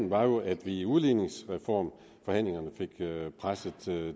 var jo at vi i udligningsreformforhandlingerne fik presset